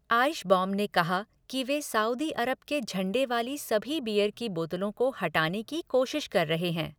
आइशबॉम ने कहा कि वे साऊदी अरब के झंडे वाली सभी बीयर की बोतलों को हटाने की कोशिश कर रहे हैं।